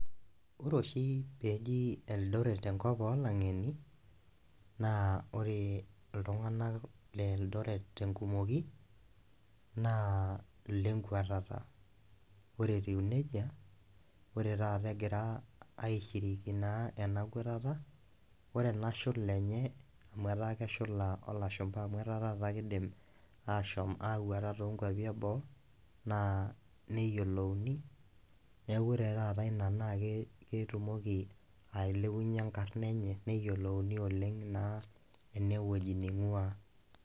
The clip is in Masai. Ore oshi peeji eldoret enkop olang'eni naa ore iltung'anak le eldoret tenkumoki naa ilenkuatata ore etiu nejia ore taata egira aishiriki naa ena kuatata ore ena shula enye amu etaa keshula olashumpa amu etaa taata kidim ashom akuata tonkuapi eboo naa neyiolouni niaku ore taata ina naa ke ketumoki ailepunyie enkarna enye neyiolouni oleng' naa enewueji neing'ua.